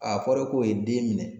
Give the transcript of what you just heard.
A fɔra ko ye den minɛ.